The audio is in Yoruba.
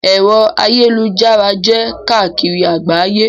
Ẹ̀rọ ayélujára jẹ́ káàkiri àgbáyé.